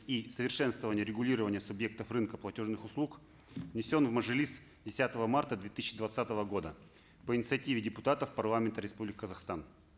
и совершенствование регулирования субъектов рынка платежных услуг внесен в мажилис десятого марта две тысяча двадцатого года по инициативе депутатов парламента республики казахстан